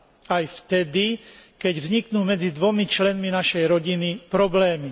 Aj vtedy, keď vzniknú medzi dvomi členmi našej rodiny problémy.